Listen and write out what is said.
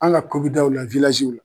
An ka kobidaw la